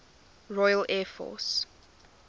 royal air force